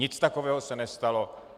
Nic takového se nestalo.